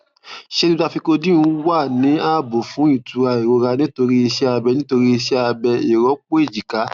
ṣé gbígba vicodin wà ní ààbò fún ìtura ìrora nítorí iṣẹ abẹ nítorí iṣẹ abẹ ìrọpò èjìká